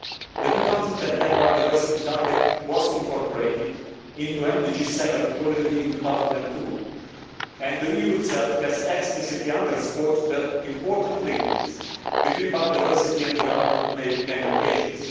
The 2010 Biodiversity Target was incorporated into MDG 7 already in 2002 and the EU itself has explicitly underscored the important linkages between biodiversity and development on many occasions.